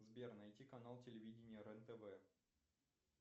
сбер найти канал телевидения рен тв